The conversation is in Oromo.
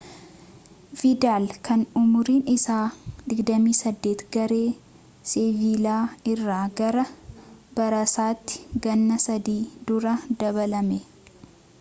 vidal kan umuriin isaa 28 garee seviilaa irraa gara baarsaatti ganna sadii dura dabalame